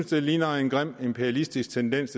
det ligner en grim imperialistisk tendens